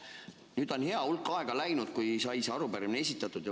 Nüüd on hea hulk aega läinud, kui sai see arupärimine esitatud.